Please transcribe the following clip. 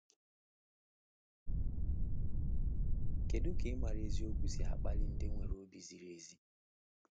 Kedu ka ịmara eziokwu si akpali ndị nwere obi ziri ezi?